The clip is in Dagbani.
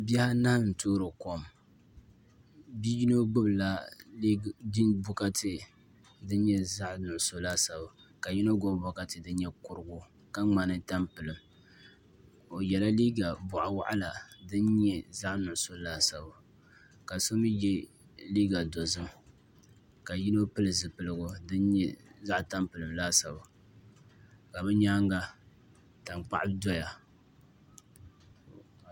Bihi anahi n toori kom bia yino gbubila bokati din nyɛ zaɣ nuɣso laasabu la yino mii gbubi kurigu dini ka ŋmani tampilim o yɛla liiga boɣa waɣala din nyɛ zaɣ nuɣso laasabu ka so mii yɛ liiga dozim ka yino pili zipiligu din nyɛ zaɣ tampilam laasabu ka bi nyaanga tankpaɣu doya